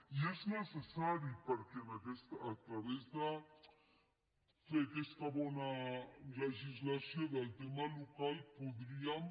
i és necessari perquè a través de fer aquesta bona legislació del tema local podríem